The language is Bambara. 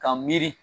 Ka miiri